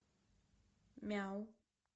мяу